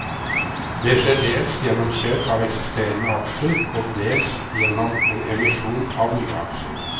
Det skjer dels gjennom kjøp av eksisterende aksjer og dels gjennom en emisjon av nye aksjer.